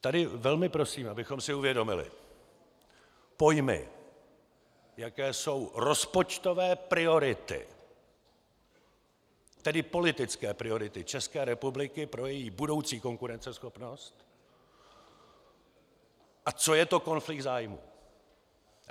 Tady velmi prosím, abychom si uvědomili pojmy, jaké jsou rozpočtové priority, tedy politické priority České republiky pro její budoucí konkurenceschopnost, a co je to konflikt zájmů.